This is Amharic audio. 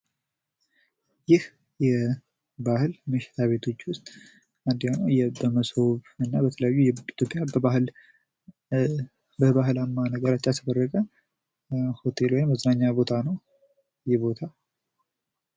ቡና ቤቶች ብዙውን ጊዜ መክሰስና ቀላል ምግቦችን የሚያቀርቡ ሲሆን ምግብ ቤቶች ደግሞ ሙሉ ምናሌ ያላቸው የተለያዩ ምግቦችን ያቀርባሉ።